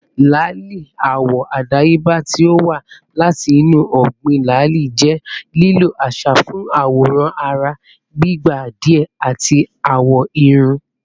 lali, awọ adayeba ti o wa lati inu ọgbin lali, jẹ lilo aṣa fun aworan ara igba diẹ ati awọ irun